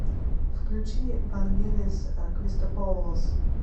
включи вангелис кристопоулос